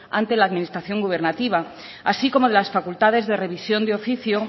ante la administración gubernativa así como las facultades de revisión de oficio